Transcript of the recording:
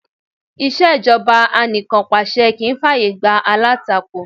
Ìṣẹ̀jọba anìkànpàṣẹ kì í fà yè gbá alátakò.